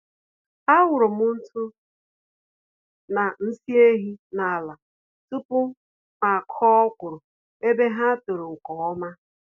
Awụrụm ntụ na nsị ehi n'ala tupu mụ akụọ ọkwụrụ, ebe ha tòrò nke ọma